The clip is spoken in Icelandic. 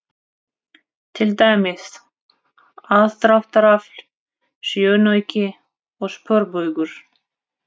Til dæmis: aðdráttarafl, sjónauki og sporbaugur.